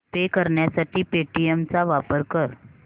पे करण्यासाठी पेटीएम चा वापर कर